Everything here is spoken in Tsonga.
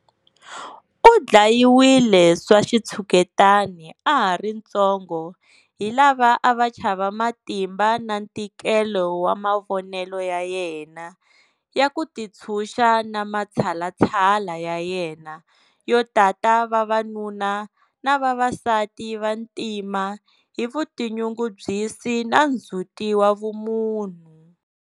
U dlayiwile swa xitshuketani a ha ri ntsongo hi lava a va chava matimba na ntikelo wa mavonelo ya yena ya ku tintshuxa na matshalatshala ya yena yo tata vavanuna na vavasati va ntima hi vutinyungubyisi na ndzhuti wa vumunhu.